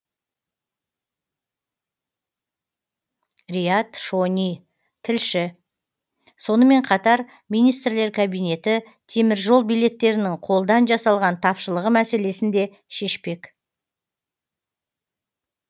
риат шони тілші сонымен қатар министрлер кабинеті теміржол билеттерінің қолдан жасалған тапшылығы мәселесін де шешпек